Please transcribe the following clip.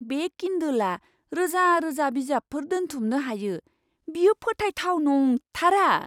बे किन्डोलआ रोजा रोजा बिजाबफोर दोनथुमनो हायो। बेयो फोथायथाव नंथारा!